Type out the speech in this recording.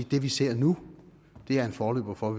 det vi ser nu er en forløber for